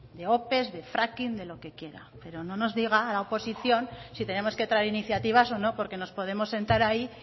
de ope de fracking de lo que quiera pero no nos diga a la oposición si tenemos que traer iniciativas o no porque nos podemos sentar ahí